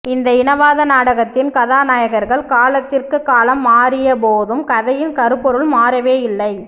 இந்த இனவாத நாடகத்தின் கதாநாயகர்கள் காலத்திற்குக்காலம் மாறியபோதும் கதையின் கருப்பொருள் மாறவேயில்லை